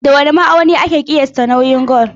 Da wane ma'auni ake ƙiyasta nauyin gwal?